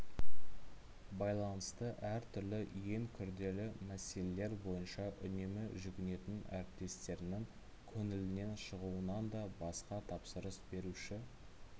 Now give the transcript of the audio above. байланысты әр түрлі ең күрделі мәселелер бойынша үнемі жүгінетін әріптестерінің көңілінен шығуынанда басқа тапсырыс беруші